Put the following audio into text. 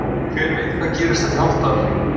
Hver veit hvað gerist eftir hálft ár?